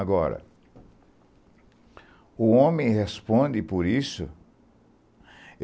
Agora, o homem responde por isso.